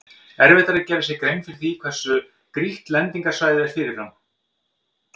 Erfitt er að gera sér grein fyrir hversu grýtt lendingarsvæðið er fyrirfram.